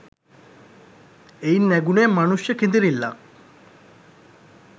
එයින් නැඟුනේ මනුෂ්‍ය කෙඳිරිල්ලක්